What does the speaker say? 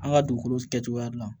An ka dugukolo kɛcogoya dilan